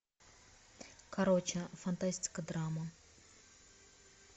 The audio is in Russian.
короче фантастика драма